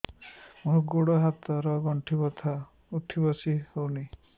ମୋର ଗୋଡ଼ ହାତ ର ଗଣ୍ଠି ବଥା ଉଠି ବସି ହେଉନାହିଁ